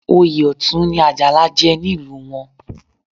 Oyè Ọ̀tún ni Àjàlá jẹ nílùú wọn